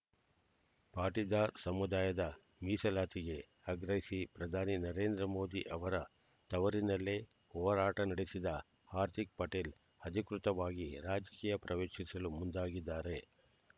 ಪಾಟೀದಾರ್ ಸಮುದಾಯದ ಮೀಸಲಾತಿಗೆ ಆಗ್ರಹಿಸಿ ಪ್ರಧಾನಿ ನರೇಂದ್ರ ಮೋದಿ ಅವರ ತವರಿನಲ್ಲೇ ಹೋರಾಟ ನಡೆಸಿದ್ದ ಹಾರ್ದಿಕ್ ಪಟೇಲ್ ಅಧಿಕೃತವಾಗಿ ರಾಜಕೀಯ ಪ್ರವೇಶಿಸಲು ಮುಂದಾಗಿದ್ದಾರೆ